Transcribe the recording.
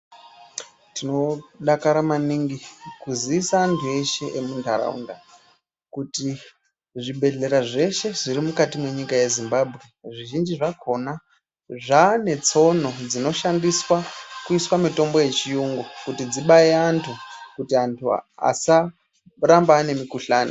Tinodakara maningi kuziisa antu eshe emunharaunda kuti zvibhedhlera zveshe zviri mukati mwenyika ye Zimbabwe, zvizhinji zvakhona zvaanetsono dzinoshandiswa kuiswa mutombo yechiyungu. Kuti dzibaye antu, kuti antu asaramba aine mukhuhlani.